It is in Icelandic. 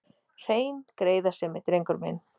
Hrein greiðasemi, drengur minn.